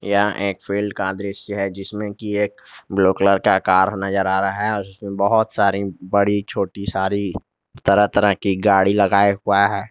यह एक फील्ड का दृश्य है जिसमें की एक ब्लू कलर का कार नजर आ रहा है उसमें बहुत सारी बड़ी छोटी सारी तरह-तरह की गाड़ी लगाये हुआ है।